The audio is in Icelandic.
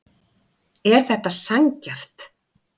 Er þetta sanngjarnt